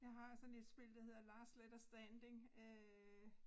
Jeg har sådan et spil der hedder Last Letter Standing øh